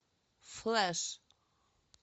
флэш